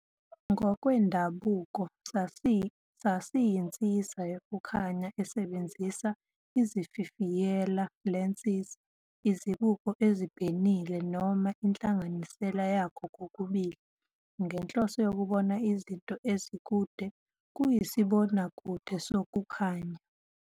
Ngokwendabuko, sasiyinsiza yokukhanya esebenzisa izififiyela "lenses", izibuko ezibhenile, noma inhlanganisela yakho kokubili ngenhloso yokubona izinto ezikude - kuyisibonakude sokukhanya.